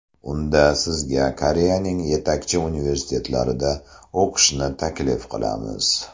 Unda sizga Koreyaning yetakchi universitetlarida o‘qishni taklif qilamiz.